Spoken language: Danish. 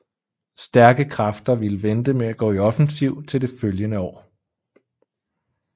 Stærke kræfter ville vente med at gå i offensiv til det følgende år